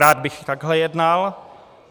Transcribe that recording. Rád bych takhle jednal.